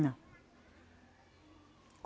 Não.